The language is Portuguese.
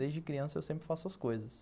Desde criança eu sempre faço as coisas.